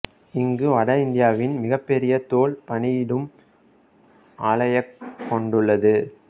இங்கு வட இந்தியாவின் மிகப் பெரிய தோல் பதனிடும் ஆலையைக் கொண்டுள்ளது